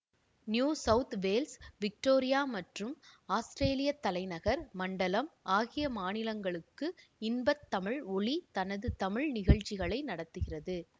new South Wales Victoria மற்றும் அஸ்திரேலியத் தலைநகர் மண்டலம் ஆகிய மாநிலங்களுக்கு இன்ப தமிழ் ஒலி தனது தமிழ் நிகழ்ச்சிகளை நடத்துகிறது